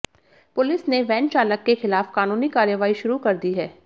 police ने van चालक के खिलाफ कानूनी कार्रवाई शुरू कर दी है